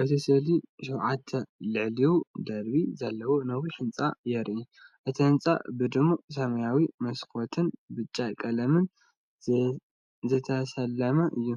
እቲ ስእሊ ሸውዓተን ልዕሊኡ ደርቢ ዘለዎ ነዊሕ ህንጻ የርኢ። እቲ ህንጻ ብድሙቕ ሰማያዊ መስኮትን ብጫ ቀለምን ዝተሰለመ እዩ።